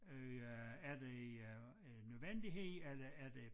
Øh øh er det øh øh nødvendighed eller er det